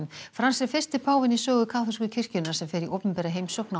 Frans er fyrsti páfinn í sögu kaþólsku kirkjunnar sem fer í opinbera heimsókn á